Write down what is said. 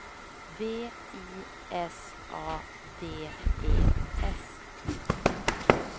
V I S A D E S